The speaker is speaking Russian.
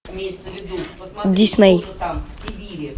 дисней